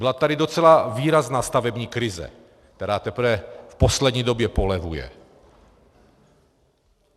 Byla tady docela výrazná stavební krize, která teprve v poslední době polevuje.